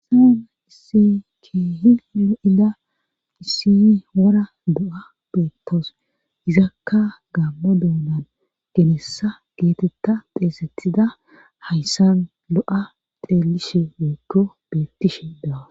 saana issi keehi lo7ida issiy wora do7a beettos izakka gammo doonan genessa geetetta xeesetida hayssan lo7a xeelishe woykko bettishe daawa